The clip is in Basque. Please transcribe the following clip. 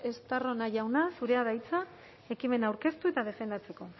estarrona jauna zurea da hitza ekimena aurkeztu eta defendatzeko